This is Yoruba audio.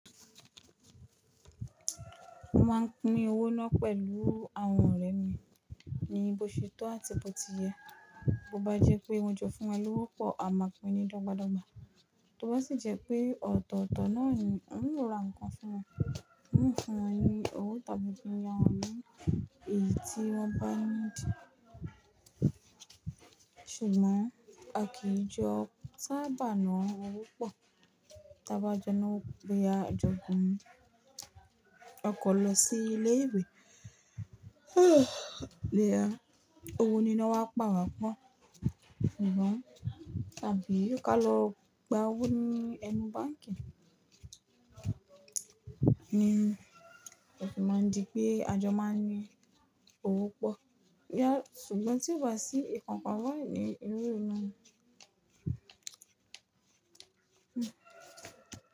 M máa ń pín owó náà pẹ̀lú àwọn ọ̀rẹ́ ni, níbo ṣe tó àti bó ti yẹ. Bo bá jẹ́ pé won jo fún wa ló wọ́pọ̀, a máa pín ni dọ́gba dọ́gba. Toba sì jẹ́ pé ọ̀tọ̀ọ̀tọ̀ náà ń rọra nǹkan fún wọn, ń fún wọn ní owó tàbí kí n ya wọn ní èyí tí wọ́n bá ní dí. Ṣùgbọ́n a kìí jọ sábà na owó pọ̀. Tí a bá jọ na wó, léha jọ gùn, a kọ̀ lọ sí ilé ìwé. Léha, òwú ni wọ́n á pàwà pọ̀. Ṣùgbọ́n tàbí kí á lọ gba owó ní ẹnu báǹkì. Ni, a sì máa ń di pé a jọ máa ń ní owó pọ̀. Léha, ṣùgbọ́n tí o bá ti rí ìkankan náà ní irú irú náà. Hmm.